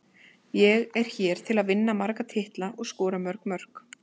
Ég er hér til að vinna marga titla og skora mörg mörk.